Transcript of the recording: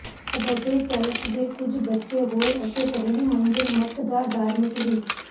abbey church ਦੇ ਕੁਝ ਬਚੇ ਹੋਏ ਅਤੇ ਪਹਿਲੀ ਮੰਜ਼ਲ ਮਠ ਦਾ ਡਾਰਮਿਟਰੀ